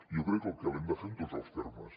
jo crec que l’hem de fer en tots els termes